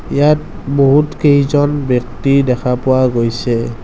ইয়াত বহুত কেইজন ব্যক্তি দেখা পোৱা গৈছে।